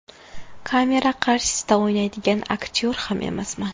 Kamera qarshisida o‘ynaydigan aktyor ham emasman.